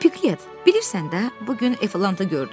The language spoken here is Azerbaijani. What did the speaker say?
Piqlet, bilirsən də, bu gün Eflanta gördüm.